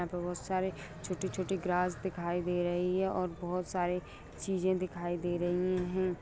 यहाँ पे बहुत सारे छोटी-छोटी ग्रास दिखाई दे रही है और बहुत सारी चीज़े दिखाई दे रही है।